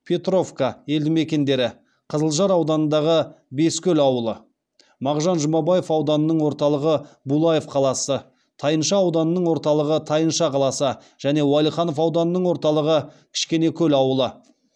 петровка елдімекендері қызылжар ауданындағы бескөл ауылы мағжан жұмабаев ауданының орталығы булаев қаласы тайынша ауданының орталығы тайынша қаласы және уәлиханов ауданының орталығы кішкенекөл ауылы